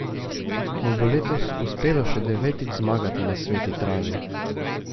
Mu bo letos uspelo še devetič zmagati na sveti travi?